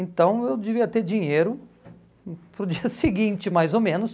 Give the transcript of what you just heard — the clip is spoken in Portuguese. Então eu devia ter dinheiro para o dia seguinte, mais ou menos.